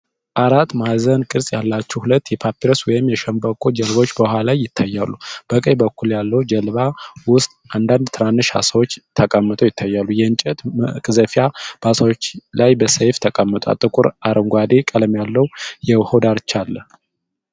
አራት ማዕዘን ቅርጽ ያላቸው ሁለት የፓፒረስ ወይም የሸንበቆ ጀልባዎች በውሃ ላይ ይታያሉ። በቀኝ በኩል ያለው ጀልባ ውስጥ አንዳንድ ትናንሽ ዓሳዎች ተቀምጠው ይታያሉ። የእንጨት መቅዘፊያ በዓሳዎቹ ላይ በሰያፍ ተቀምጧል። ጥቁር አረንጓዴ ቀለም ያለው የውሃው ዳርቻ አለ።